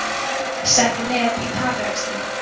Setti met í taprekstri